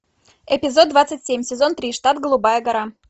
эпизод двадцать семь сезон три штат голубая гора